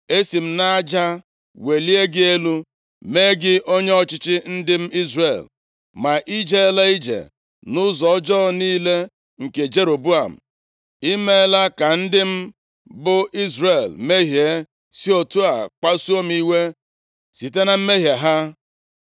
“Esi m nʼaja welie gị elu, mee gị onye ọchịchị ndị m Izrel. Ma i jeela ije nʼụzọ ọjọọ niile nke Jeroboam. I meela ka ndị m bụ Izrel mmehie, si otu a kpasuo m iwe site na mmehie ha.